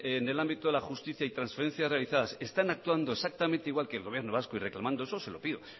en el ámbito de la justicia y transferencias realizadas están actuando exactamente igual que el gobierno vasco y reclamando eso es lo que pido